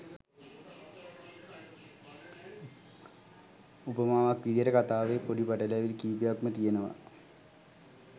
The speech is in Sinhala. උපමාවක් විදියට කතාවේ පොඩි පැටලවිලි කීපයක්ම තියෙනවා